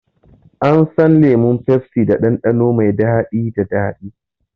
An san lemon pepsi da ɗanɗano mai daɗi da daɗi.